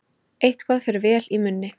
Eitthvað fer vel í munni